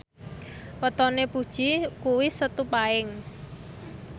wetone Puji kuwi Setu Paing